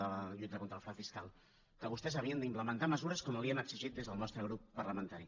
de la lluita contra el frau fiscal que vostès havien d’implementar mesures com li ho hem exigit des del nostre grup parlamentari